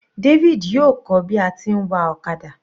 David yóò kọ́ bi a ti ń wa ọ̀kadà.